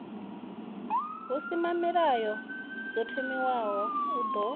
husimamilayo ḓo thomiwaho u ya